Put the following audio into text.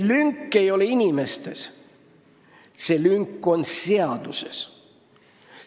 Lünk ei ole inimestes, lünk on seaduses.